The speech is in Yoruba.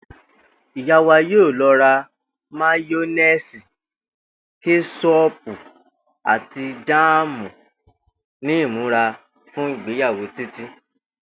Ìyá wa yóò lo̩ rà máyó̩néèsì, ké̩s̩ó̩ò̩pù àti jáàmù ní ìmúrasílè̩ fún ìgbéyàwó Títí